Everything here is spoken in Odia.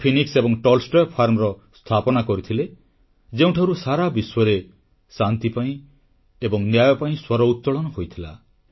ସେ ଫିନିକ୍ସ ଏବଂ ଟଲଷ୍ଟୟ ଫାର୍ମର ସ୍ଥାପନା କରିଥିଲେ ଯେଉଁଠାରୁ ସାରାବିଶ୍ୱରେ ଶାନ୍ତି ପାଇଁ ଏବଂ ନ୍ୟାୟ ପାଇଁ ସ୍ୱର ଉତ୍ତୋଳନ ହୋଇଥିଲା